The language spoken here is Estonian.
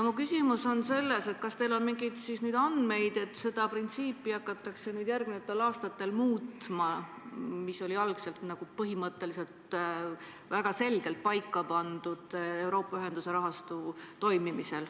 Mu küsimus on selline: kas teil on nüüd mingeid andmeid, et seda printsiipi hakatakse järgmistel aastatel muutma, kuigi see oli algselt Euroopa ühendamise rahastu toimimisel põhimõtteliselt väga selgelt paika pandud?